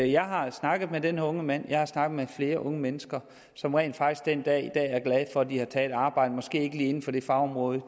jeg har snakket med den her unge mand og jeg har snakket med flere unge mennesker som rent faktisk den dag i dag er glade for at de har taget et arbejde måske ikke lige inden for det fagområde